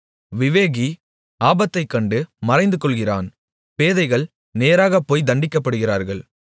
விவேகி ஆபத்தைக் கண்டு மறைந்து கொள்ளுகிறான் பேதைகள் நேராகப்போய் தண்டிக்கப்படுகிறார்கள்